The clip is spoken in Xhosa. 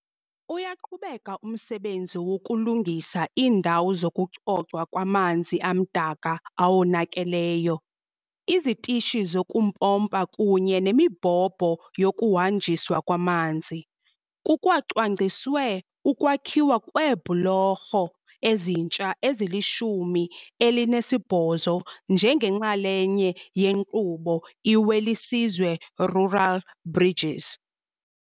Uyaqhubeka umsebenzi wokulungisa iindawo zokucocwa kwamanzi amdaka awonakeleyo, izitishi zokumpompa kunye nemibhobho yokuhanjiswa kwamanzi. Kukwacwangciswe ukwakhiwa kweebhulorho ezintsha ezilishumi elinesibhozo njengenxalenye yenkqubo iWelisizwe Rural Bridges.